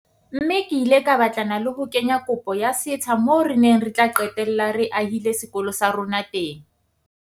Mme ke ile ka batlana le ho kenya kopo ya setsha moo re neng re tla qetella re ahile sekolo sa rona teng.